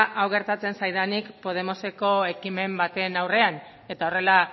hau gertatzen zaidanik podemoseko ekimen baten aurrean eta horrela